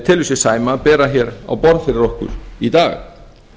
telur sig sæma að bera hér á borð fyrir okkur í dag